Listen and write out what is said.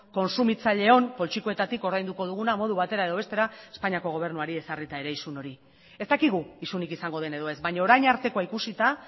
kontsumitzaileon poltsikoetatik ordainduko duguna modu batera edo bestera espainiako gobernuari ezarrita ere isun hori ez dakigu isunik izango den edo ez baino orain artekoa ikusita